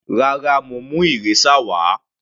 Rárá, mo mú eraser wà á.